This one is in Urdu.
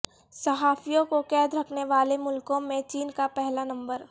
صحافیوں کو قید رکھنے والے ملکوں میں چین کا پہلا نمبر